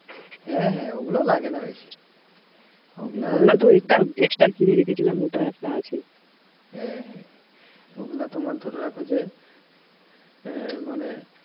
হ্যাঁ হ্যাঁ ওগুলা লাগেনা বেশি হ্যাঁ, ওগুলা তোমার ধরে রাখো যে এ~ মানে